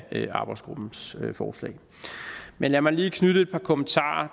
arbejdsgruppens forslag men lad mig lige knyttet et par kommentarer